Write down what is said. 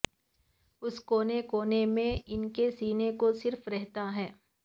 اس کونے کونے میں ان کے سینہ کو صرف رہتا ہے